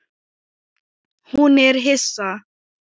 Hún er hissa.